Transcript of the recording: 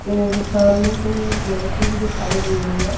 और सामने कोई एक लड़की भी दिखाई दे रही है।